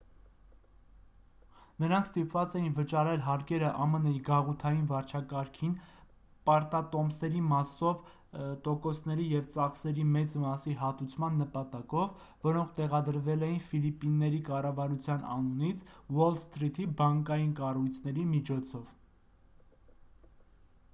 նրանք ստիպված էին վճարել հարկերը ամն-ի գաղութային վարչակարգին պարտատոմսերի մասով տոկոսների և ծախսերի մեծ մասի հատուցման նպատակով որոնք տեղադրվել էին ֆիլիպինների կառավարության անունից ուոլ սթրիթի բանկային կառույցների միջոցով